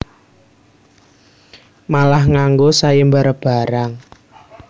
Malah nganggo sayembara barang